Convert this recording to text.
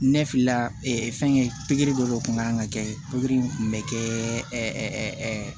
Ne filɛ fɛn pikiri dɔ de tun kan ka kɛ pikiri kun bɛ kɛ